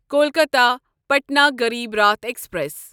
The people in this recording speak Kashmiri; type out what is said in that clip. کولکاتا پٹنا غریٖب راٹھ ایکسپریس